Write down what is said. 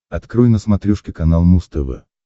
открой на смотрешке канал муз тв